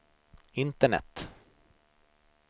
internet